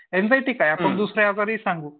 Anxiety काय आपण दुसऱ्या जरी सांगू.